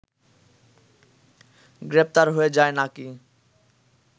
গ্রেফতার হয়ে যায় নাকি